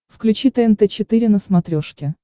включи тнт четыре на смотрешке